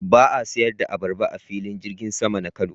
Ba a sayar da abarba a Filin Jirgin sama na Kano.